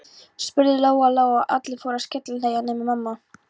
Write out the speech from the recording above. spurði Lóa Lóa, og allir fóru að skellihlæja nema mamma.